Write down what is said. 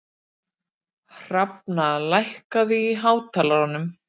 Hrafna, lækkaðu í hátalaranum.